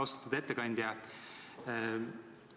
Austatud ettekandja!